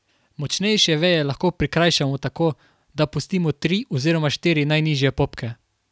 Močnejše veje lahko prikrajšamo tako, da pustimo tri oziroma štiri najnižje popke.